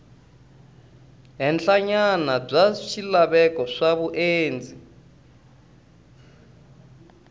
henhlanyana bya swilaveko swa vundzeni